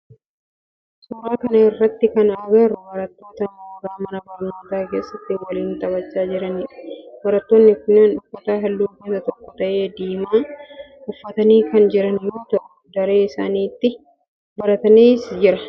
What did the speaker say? Suuraa kana irratti kan agarru barattoota mooraa mana barnootaa keessatti waliin taphachaa jiranidha. Barattoonni kunneen uffata halluu gosa tokkoo ta'e diimaa uffatanii kan jiran yoo ta'u dareen isaan itti baratanis jira.